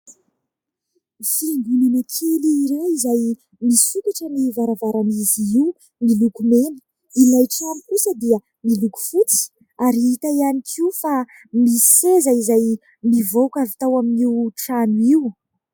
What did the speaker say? Fiangonana kely iray izay misokatra ny varavaran'izy io miloko mena. Ilay trano kosa dia miloko fotsy ary hita ihany koa fa misy seza izay mivoaka avy tao amin'io trano io.